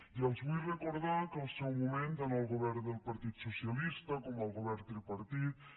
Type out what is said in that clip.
i els vull recordar que al seu moment en el govern del partit socialista com al govern tripartit